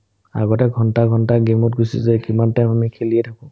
আগতে ঘণ্টা ঘণ্টাই gameত গুচি যায় কিমান time লে খেলিয়ে থাকো